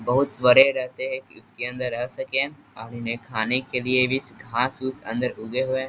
बहुत बड़े रहते है इसके अंदर रह सके अब इन्हे खाने के लिए भी घास उस उगे हुए हैं।